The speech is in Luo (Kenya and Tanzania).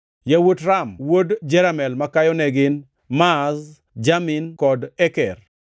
Yawuot Ram wuod Jeramel makayo ne gin: Maaz, Jamin kod Eker.